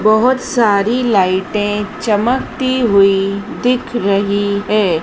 बहोत सारी लाइटे चमकती हुई दिख रही है।